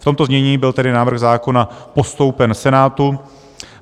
V tomto znění byl tedy návrh zákona postoupen Senátu.